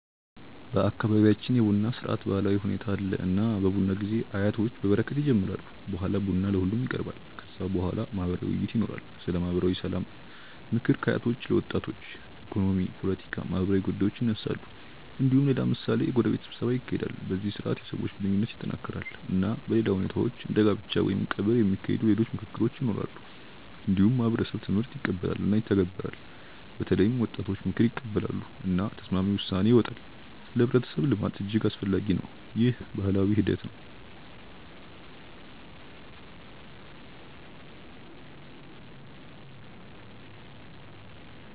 በአካባቢያችን የቡና ስርዓት ባህላዊ ሁኔታ አለ። እና በቡና ጊዜ አያቶች በበረከት ይጀምራሉ። በኋላ ቡና ለሁሉም ይቀርባል። ከዚያ በኋላ ማህበራዊ ውይይት ይኖራል። ስለ ማህበራዊ ሰላም፣ ምክር ከአያቶች ለወጣቶች፣ ኢኮኖሚ፣ ፖለቲካ፣ ማህበራዊ ጉዳዮች ይነሳሉ። እንዲሁም ሌላ ምሳሌ የጎረቤት ስብሰባ ይካሄዳል። በዚህ ስርዓት የሰዎች ግንኙነት ይጠናከራል። እና በሌላ ሁኔታዎች እንደ ጋብቻ ወይም ቀብር የሚካሄዱ ሌሎች ምክክሮች ይኖራሉ። እንዲሁም ማህበረሰብ ትምህርት ይቀበላል እና ይተገበራል። በተለይም ወጣቶች ምክር ይቀበላሉ። እና ተስማሚ ውሳኔ ይወጣል። ለህብረተሰብ ልማት እጅግ አስፈላጊ ነው። ይህ ባህላዊ ሂደት ነው።